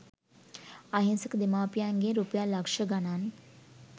අහිංසක දෙමාපියන්ගෙන් රුපියල් ලක්ෂ ගණන්